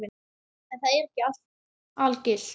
En það er ekki algilt.